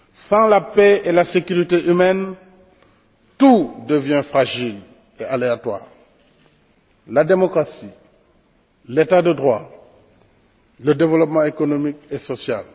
Sans la paix et la sécurité humaine, tout devient fragile et aléatoire la démocratie, l'état de droit, le développement économique et social